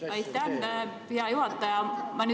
Aitäh, hea juhataja!